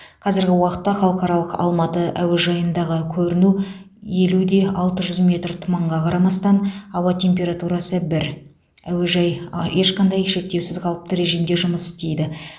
қазіргі уақытта халықаралық алматы әуежайындағы көріну елу де алты жүз метр тұманға қарамастан ауа температурасы бір әуежай а ешқандай шектеусіз қалыпты режимде жұмыс істейді